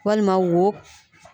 Walima wo